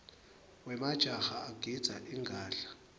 wemajaha agidza ingadla